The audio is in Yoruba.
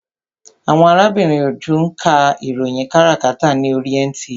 Arábìnrin Òjó ń ka ìròyìn káràkátà ní oríi NTA